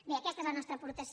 bé aquesta és la nostra aportació